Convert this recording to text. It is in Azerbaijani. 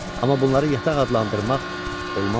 Amma bunları yataq adlandırmaq olmazdı.